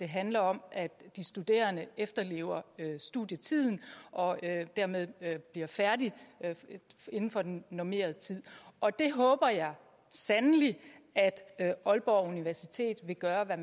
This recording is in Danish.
handler om at de studerende efterlever studietiden og dermed bliver færdige inden for den normerede tid og det håber jeg sandelig at aalborg universitet vil gøre hvad